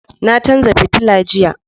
Na canza fitilla jiya.